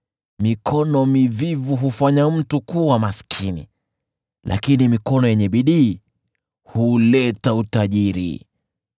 Mikono mivivu hufanya mtu kuwa maskini lakini mikono yenye bidii huleta utajiri.